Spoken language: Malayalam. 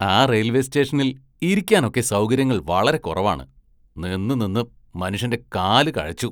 ആ റെയില്‍വേ സ്‌റ്റേഷനില്‍ ഇരിക്കാനൊക്കെ സൗകര്യങ്ങള്‍ വളരെ കുറവാണ്, നിന്ന്, നിന്ന്, മനുഷ്യന്റെ കാല് കഴച്ചു.